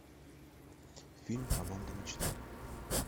фильм команда мечты